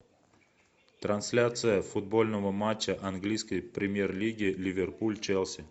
трансляция футбольного матча английской премьер лиги ливерпуль челси